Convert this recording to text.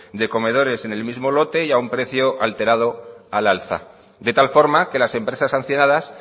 de comedores en el mismo lote y a un precio alterado al alza de tal forma que las empresas sancionadas